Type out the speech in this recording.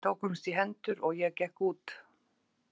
Við tókumst í hendur og ég gekk út.